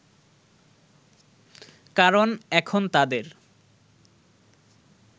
কারণ এখন তাদের